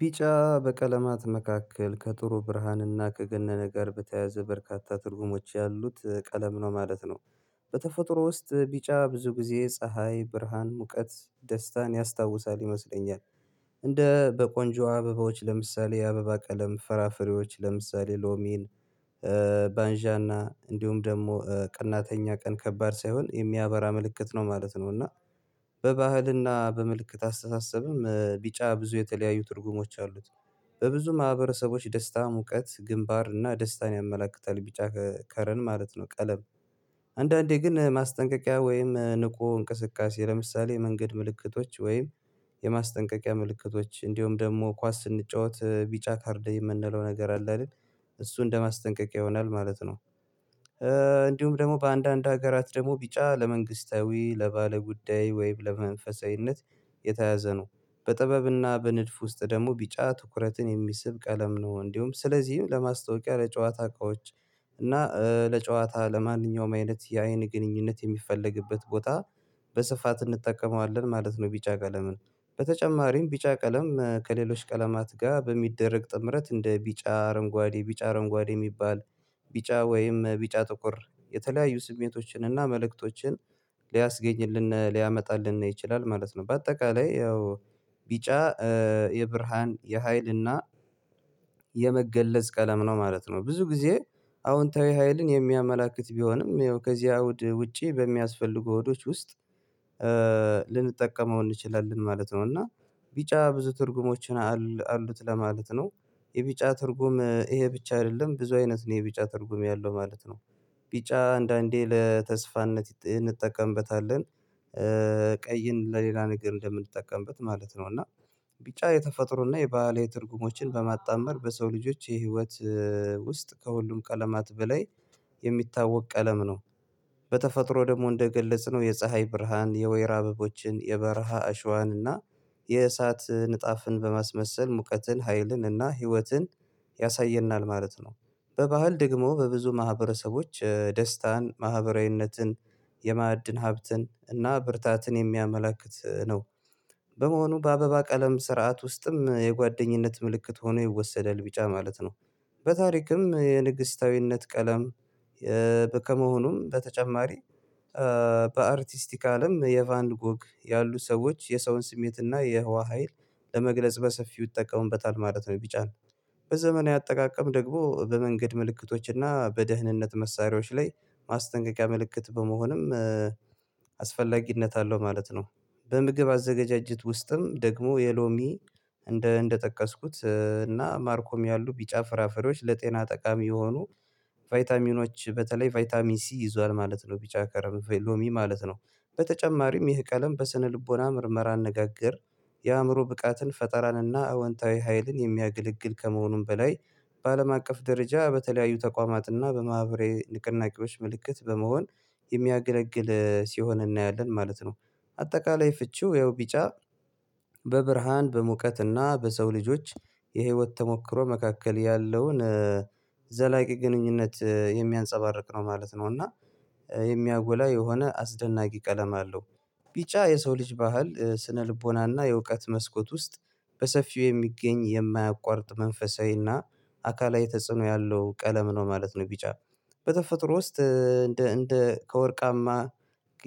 ቢጫ በቀለማት መካከል ከጥሩ ብርሃንና ከገነነ ጋር በተያያዘ በርካታ ትርጉሞች ያሉት ቀለም ነው ማለት ነው። በተፈጥሮ ውስጥ ቢጫ ብዙ ጊዜ ፀሀይ ብርሃን ሙቀት ደስታን ያስታውሳል ይመስለኛል። እንደ በቆንጆ አበቦች ለምሳሌ የአበባ ቀለም ፈራፍሬዎች ለምሳሌ ሎሚን ባንዣና እንዲሁም ደግሞ ቅናተኛ ቀን ከባድ ሳይሆን የሚያበራ ምልክት ነው ማለት ነው። እና በባህልና በምልክት አስተሳሰብም ቢጫ ብዙ የተለያዩ ትርጉሞች አሉት። በብዙ ማህበረሰቦች ደስታ ሙቀት ግንባር እና ደስታን ያመላክታል ቢጫ ከረን ማለት ነው ቀለም። አንዳንዴ ግን ማስጠንቀቂያ ወይም ንቁ እንቅስቃሴ ለምሳሌ መንገድ ምልክቶች ወይም የማስጠንቀቂያ ምልክቶች እንዲሁም ደግሞ ኳስ ስንጫወት ቢጫ ካርድ የምንለው ነገር አለ አይደል እሱ እንደማስጠንቀቂያ ይሆናል ማለት ነው። እንዲሁም ደግሞ በአንዳንድ ሀገራት ደግሞ ቢጫ ለመንግስታዊ ለባለ ጉዳይ ወይም ለመንፈሳዊነት የተያዘ ነው። በጥበብና በንድፍ ውስጥ ደግሞ ቢጫ ትኩረትን የሚስብ ቀለም ነው እንዲሁም ስለዚህም ለማስታወቂያ ለጨዋታ እቃዎች እና ለጨዋታ ለማንኛውም አይነት የአይን ግንኙነት የሚፈለግበት ቦታ በስፋት እንጠቀመዋለን ማለት ነው። ቢጫ ቀለምን በተጨማሪም ቢጫ ቀለም ከሌሎች ቀለማት ጋር በሚደረግ ጥምረት እንደ ቢጫ አረንጓዴ ቢጫ አረንጓዴ የሚባል ቢጫ ወይም ቢጫ ጥቁር የተለያዩ ስሜቶችን እና መልእክቶችን ሊያስገኝልን ሊያመጣልን ይችላል ማለት ነው። በአጠቃላይ ያው ቢጫ የብርሃን የሀይልና የመገለጽ ቀለም ነው ማለት ነው ብዙ ጊዜ አዎንታዊ ሀይልን የሚያመላክት ቢሆንም ይኸው ከዚህ አውድ ውጪ በሚያስፈልጉ አውዶች ውስጥ ልንጠቀመው እንችላለን ማለት ነው። እና ቢጫ ብዙ ትርጉሞችን አሉት ለማለት ነው የቢጫ ትርጉም ይሄ ብቻ አይደለም ብዙ አይነት ነው የቢጫ ትርጉም ያለው ማለት ነው። ቢጫ አንዳንዴ ለተስፋነት እንጠቀምበታለን ቀይን ለሌላ ነገር እንደምንጠቀምበት ማለት ነው። እና ቢጫ የተፈጥሮና የባህል ትርጉሞችን በማጣመር በሰው ልጆች የህይወት ውስጥ ከሁሉም ቀለማት በላይ የሚታወቅ ቀለም ነው። በተፈጥሮ ደግሞ እንደገለጽነው የፀሀይ ብርሃን የወይራ አበቦችን የበረሃ እሸዋንና የእሳት ንጣፍን በማስመሰል ሙቀትን ሀይልንና ህይወትን ያሳየናል ማለት ነው። በባህል ደግሞ በብዙ ማህበረሰቦች ደስታን ማህበራዊነትን የማዕድን ሀብትን እና ብርታትን የሚያመላክት ነው። በመሆኑ በአበባ ቀለም ስርዓት ውስጥም የጓደኝነት ምልክት ሆኖ ይወሰዳል ቢጫ ማለት ነው። በታሪክም የንግስታዊነት ቀለም ከመሆኑም በተጨማሪ በአርቲስቲካልም የቫንጎግ ያሉ ሰዎች የሰውን ስሜትና የህዋ ሀይል ለመግለጽ በሰፊው ይጠቀሙበታል ማለት ነው። ቢጫ ነው በዘመናዊ አጠቃቀም ደግሞ በመንገድ ምልክቶችና በደህንነት መሳሪያዎች ላይ ማስጠንቀቂያ ምልክት በመሆንም አስፈላጊነት አለው ማለት ነው። በምግብ አዘጋጅቶችም ውስጥም ደግሞ የሎሚ እንደ እንደጠቀስኩት እና ማርኮም ያሉ ቢጫ ፍራፍሬዎች ለጤና ጠቃሚ የሆኑ ቫይታሚኖች በተለይ ቫይታሚን ሲ ይዟል ማለት ነው ቢቻ ከረም ፌሎሚ ማለት ነው። በተጨማሪም ይህ ቀለም በስነልቦና ምርመራ አነጋገር የአእምሮ ብቃትን ፈጠራንና አወንታዊ ሀይልን የሚያገለግል ከመሆኑም በላይ በአለም አቀፍ ደረጃ በተለያዩ ተቋማትና በማህበራዊ ንቅናቄዎች ምልክት በመሆን የሚያገለግል ሲሆን እናያለን ማለት ነው። አጠቃላይ ፍቺው ያው ቢጫ በብርሃን በሙቀት እና በሰው ልጆች የህይወት ተሞክሮ መካከል ያለውን ዘላቂ ግንኙነት የሚያንፀባርቅ ነው ማለት ነው። እና የሚያጎላ የሆነ አስደናቂ ቀለም አለው ቢጫ የሰው ልጅ ባህል ስነ ልቦናና የእውቀት መስኮት ውስጥ በሰፊው የሚገኝ የማያቋርጥ መንፈሳዊና አካላዊ ተጽዕኖ ያለው ቀለም ነው ማለት ነው። ቢጫ በተፈጥሮ ውስጥ እንደ ከወርቃማ